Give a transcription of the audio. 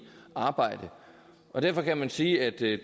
arbejde og derfor kan man sige at det